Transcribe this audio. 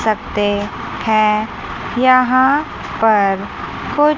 सकते हैं यहां पर कुछ--